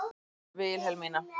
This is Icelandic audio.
Vilhelmína